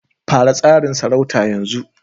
Fara tsarin sarauta yanzu